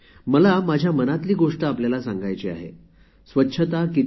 मी आपल्याला माझ्या मनातील गोष्ट सांगू इच्छिते